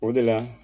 O de la